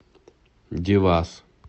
девас